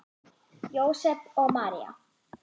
Jósep og María